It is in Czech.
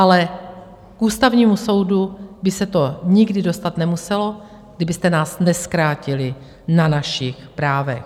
Ale k Ústavnímu soudu by se to nikdy dostat nemuselo, kdybyste nás nezkrátili na našich právech.